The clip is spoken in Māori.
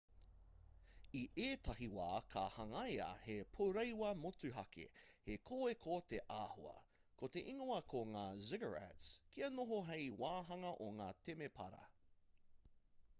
i ētahi wā ka hangaia he pourewa motuhake he kōeko te āhua ko te ingoa ko ngā ziggurats kia noho hei wāhanga o ngā temepara